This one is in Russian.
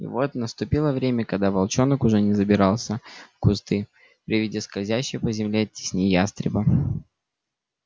и вот наступило время когда волчонок уже не забирался в кусты при виде скользящей по земле тени ястреба